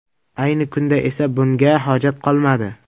Ayni kunda esa bunga hojat qolmadi”.